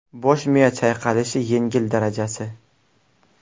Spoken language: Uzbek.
Bosh miya chayqalishi yengil darajasi.